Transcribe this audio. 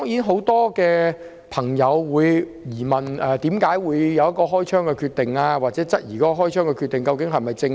很多市民質疑該警員為何決定開槍，又或質疑開槍的決定是否正確。